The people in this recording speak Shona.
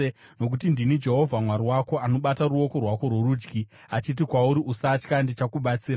Nokuti ndini Jehovha, Mwari wako, anobata ruoko rwako rworudyi achiti kwauri, Usatya; ndichakubatsira.